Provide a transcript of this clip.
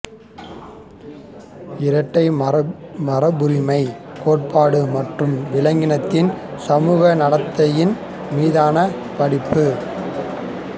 இரட்டை மரபுரிமைக் கோட்பாடு மற்றும் விலங்கினத்தின் சமூக நடத்தையின் மீதான படிப்பு